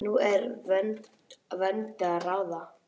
Nú er úr vöndu að ráða!